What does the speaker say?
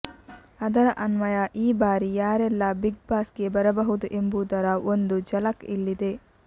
ಅದರ ಅನ್ವಯ ಈ ಬಾರಿ ಯಾರೆಲ್ಲ ಬಿಗ್ ಬಾಸ್ ಗೆ ಬರಬಹುದು ಎಂಬುದರ ಒಂದು ಝಲಕ್ ಇಲ್ಲಿದೆ